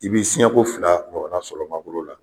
I bi siɲɛko fila sɔrɔ ma bolo la